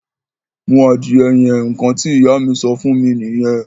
Mú adìyẹ yẹn! Ǹkan tí Ìyá mi sọ fún mí nìyẹn